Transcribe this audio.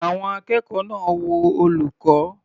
Àwọn akẹ́kọ̀ọ́ náà wo olùkọ́.